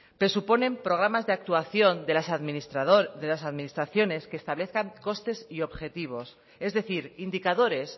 presuponen programas de actuación de las administraciones que establezcan costes y objetivos es decir indicadores